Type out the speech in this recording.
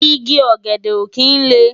Igi ògèdè ó kin lé